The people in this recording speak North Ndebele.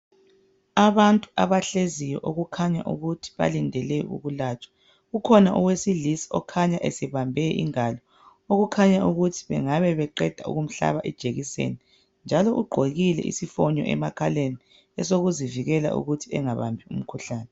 Abantu abahleziyo okukhanya ukuthi balindele ukulatshwa ukhona owesilisa okhanya ezibambe ingalo okukhanya ukuthi baqeda kumhlaba ijekiseni njalo ugqokile isifonyo emakhaleni esokuzivikela ukuthi engabambi imkhuhlane